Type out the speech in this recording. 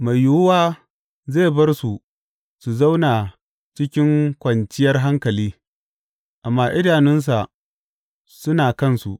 Mai yiwuwa zai bar su su zauna cikin kwanciyar hankali, amma idanunsa suna kansu.